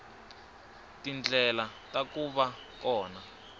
tindlela ta ku va kona